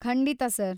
ಖಂಡಿತಾ ಸರ್.